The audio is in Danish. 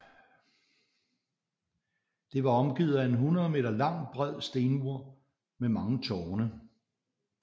Det var omgivet af en 100 m lang bred stenmur med mang tårne